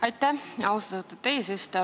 Aitäh, austatud eesistuja!